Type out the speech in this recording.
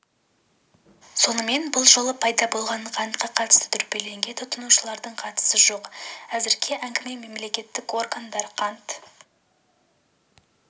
сонымен бұл жолы пайда болған қантқа қатысты дүрбелеңге тұтынушылардың қатысы жоқ әзірге әңгіме мемлекеттік органдар қант